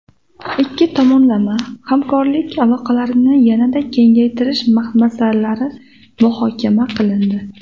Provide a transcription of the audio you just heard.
Ikki tomonlama hamkorlik aloqalarini yanada kengaytirish masalalari muhokama qilindi.